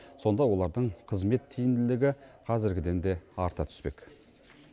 сонда олардың қызмет тиімділігі қазіргіден де арта түспек